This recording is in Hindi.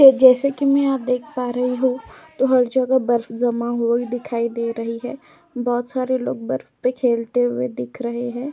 तो जैसे कि मैं यहाँ देख पा रही हूं तो हर जगह बर्फ जमा हुई ही दिखाई दे रही है। बहोत सारे लोग बर्फ पे खेलते हुए दिख रहे हैं।